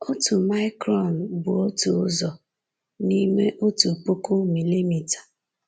Otu micron bụ otu ụzọ n’ime otu puku milimita.